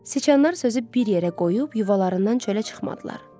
Siçanlar sözü bir yerə qoyub yuvalarından çölə çıxmadılar.